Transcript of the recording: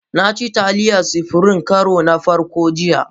Na ci Taliyar supirim na karon farko jiya.